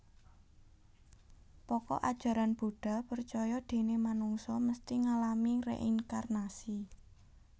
Pokok Ajaran Buddha percaya déné manungsa mesti ngalami reinkarnasi